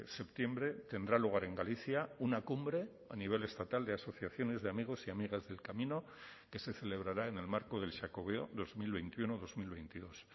septiembre tendrá lugar en galicia una cumbre a nivel estatal de asociaciones de amigos y amigas del camino que se celebrará en el marco del xacobeo dos mil veintiuno dos mil veintidós